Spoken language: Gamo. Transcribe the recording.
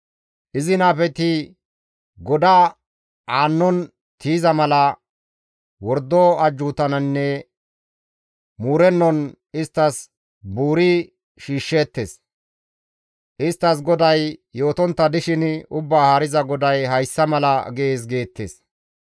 Izi nabeti goda aannon tiyiza mala wordo ajjuutaninne muurennon isttas buuri shiishsheettes; isttas GODAY yootontta dishin, ‹Ubbaa Haariza GODAY hayssa mala gees› geettes.